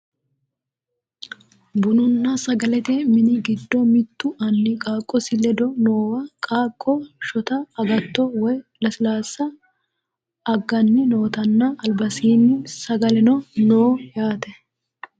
bununna sgalete mini giddo mittu anni qaaqqosi ledo noowa qaaqqo shota agtto woyi lasilaassa agganni nootanna albasiinni sagaleno no yaate